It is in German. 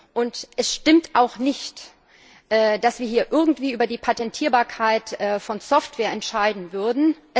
Und es stimmt auch nicht, dass wir hier irgendwie über die Patentierbarkeit von Software entscheiden würden.